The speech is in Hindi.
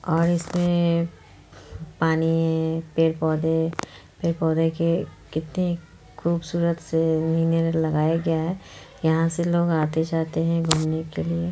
और इसमें पानी पेड़-पौधे पेड़-पौधे के कितने खूबसूरत से लगाया गया है यहां से लोग आते-जाते हैं घूमने के लिए--